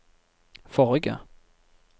forrige